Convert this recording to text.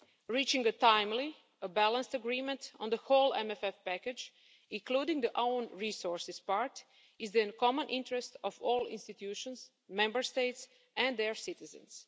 Reaching a timely and balanced agreement on the whole MFF package, including the own resources part, is in the common interest of all institutions, Member States, and their citizens.